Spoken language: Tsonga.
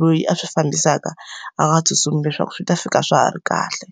loyi a swi fambisaka a nga tsutsumi leswaku swi ta fika swa ha ri kahle.